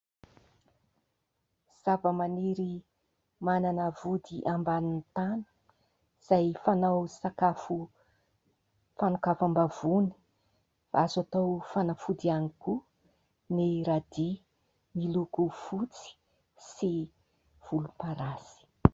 Zavamaniry manana vody ambanin'ny tany izay fanao sakafo fanokafam-bavony. Azo atao fanafody ihany koa ny "radis". Miloko fotsy sy volomparasy.